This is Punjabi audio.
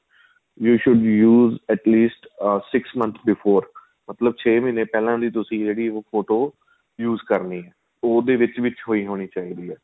you should used at least a six month before ਮਤਲਬ ਛੇ ਮਹੀਨੇਂ ਦੀ ਪਹਿਲਾਂ ਤੁਸੀਂ ਜਿਹੜੀ ਉਹ ਫ਼ੋਟੋ use ਕਰਨੀ ਏ ਉਹ ਉਹਦੇ ਵਿੱਚ ਵਿੱਚ ਹੋਈ ਹੋਣੀ ਚਾਹੀਦੀ ਏ